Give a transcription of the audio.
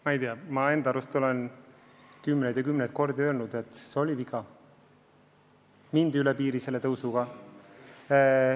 Ma ei tea, ma enda arust olen kümneid kordi öelnud, et see oli viga: mindi üle piiri selle tõstmisega.